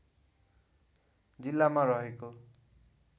जिल्लामा रहेको